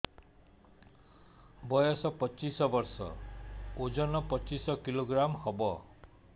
ବୟସ ପଚିଶ ବର୍ଷ ଓଜନ ପଚିଶ କିଲୋଗ୍ରାମସ ହବ